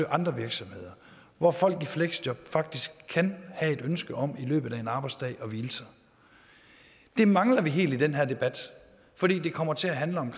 andre virksomheder hvor folk i fleksjob faktisk kan have et ønske om i løbet af en arbejdsdag det mangler vi helt i den her debat for det kommer til at handle om